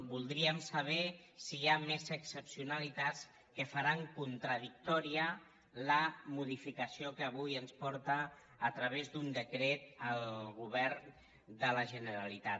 voldríem saber si hi ha més excepcionalitats que faran contradictòria la modifica·ció que avui ens porta a través d’un decret el govern de la generalitat